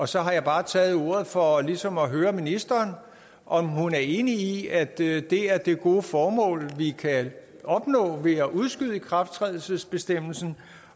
så har jeg bare taget ordet for ligesom at høre ministeren om hun er enig i at det er det gode formål vi kan opnå ved at udskyde ikrafttrædelsesbestemmelsen